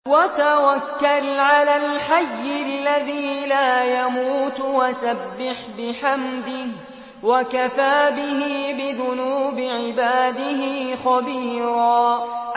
وَتَوَكَّلْ عَلَى الْحَيِّ الَّذِي لَا يَمُوتُ وَسَبِّحْ بِحَمْدِهِ ۚ وَكَفَىٰ بِهِ بِذُنُوبِ عِبَادِهِ خَبِيرًا